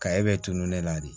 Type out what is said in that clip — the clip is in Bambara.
Ka e bɛ tununi de la de